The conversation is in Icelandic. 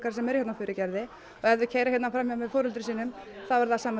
sem eru hérna á Furugerði og ef þau keyra hérna fram hjá með foreldrum sínum þá er það sama